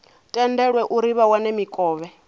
tendelwe uri vha wane mikovhe